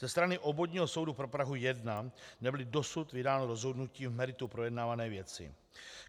Ze strany Obvodního soudu pro Prahu 1 nebylo dosud vydáno rozhodnutí v meritu projednávané věci.